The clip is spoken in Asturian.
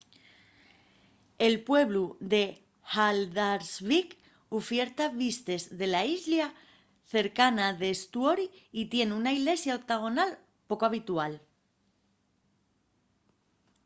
el pueblu de haldarsvík ufierta vistes de la islla cercana d'eysturoy y tien una ilesia octagonal poco habitual